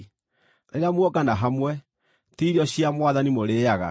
Rĩrĩa muongana hamwe, ti Irio cia Mwathani mũrĩĩaga,